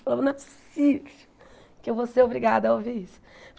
Falava, não é possível que eu vou ser obrigada a ouvir isso.